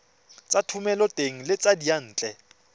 tsa thomeloteng le tsa diyantle